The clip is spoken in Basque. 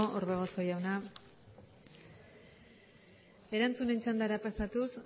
orbegozo jauna erantzunen txandara pasatuz